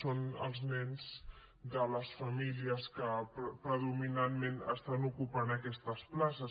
són els nens de les famílies que predominantment estan ocupant aquestes places